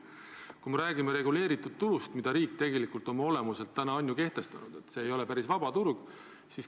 Kui me räägime reguleeritud turust, mille riik tegelikult täna on ju kehtestanud, siis see ei ole oma olemuselt päris vaba turg.